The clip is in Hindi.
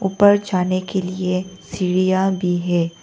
ऊपर जाने के लिए सीढ़ियां भी हैं।